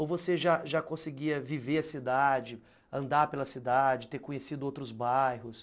Ou você já já conseguia viver a cidade, andar pela cidade, ter conhecido outros bairros?